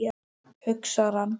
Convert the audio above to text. hugsar hann.